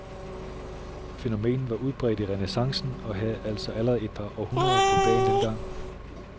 Fænomenet var udbredt i renæssancen og havde altså allerede et par århundreder på bagen dengang.